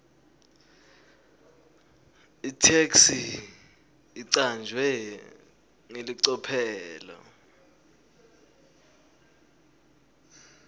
itheksthi icanjwe ngelicophelo